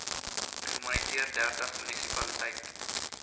gemoniteer dertig munisipaliteite